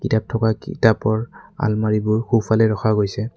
কিতাপ থকা কিতাপৰ আলমাৰিবোৰ সোঁফালে ৰখা গৈছে।